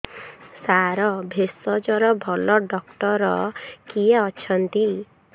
ସାର ଭେଷଜର ଭଲ ଡକ୍ଟର କିଏ ଅଛନ୍ତି